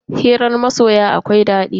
Hirar masoya akwai daɗi.